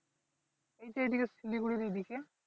এই দিকে শিলিগুড়ির এই দিকে